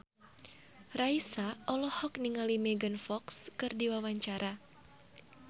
Raisa olohok ningali Megan Fox keur diwawancara